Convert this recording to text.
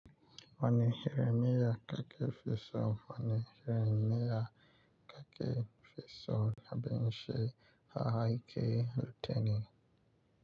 Wani irin miya kaka fiso wani irin miya kake fiso ya abinshi ahakin littani.